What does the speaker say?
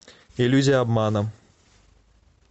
иллюзия обмана